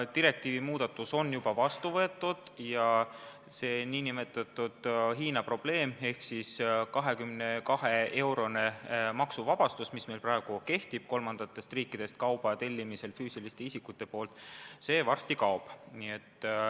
Direktiivi muudatus on juba vastu võetud ja see nn Hiina probleem ehk siis kuni 22 eurose maksumuse puhul maksuvabastus, mis meil praegu kehtib kolmandatest riikidest kauba tellimisel füüsiliste isikute poolt, varsti kaob.